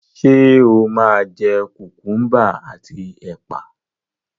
Ṣé o máa jẹ kùkúḿbà àti ẹ̀pà